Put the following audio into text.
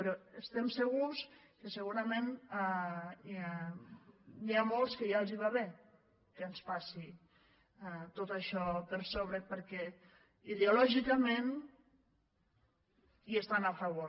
però estem segurs que segurament n’hi ha molts que ja els va bé que ens passi tot això per sobre perquè ideològicament hi estan a favor